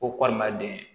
Ko walima den